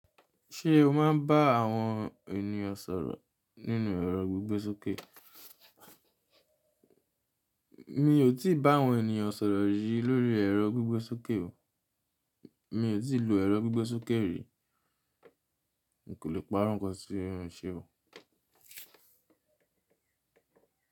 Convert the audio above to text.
Ṣé o máa ń bá àwọn ènìyàn sọ̀rọ̀ nínú ẹ̀rọ gbígbẹ́ sókè? Mi ò tí ì bá àwọn ènìyàn sọ̀rọ̀ rìí lórí ẹ̀rọ gbígbẹ́ sókè o. Mi ò tí ì lo ẹ̀rọ gbígbẹ́ sókè rí. N kò lè pa á rankọ sí ohun ṣe o.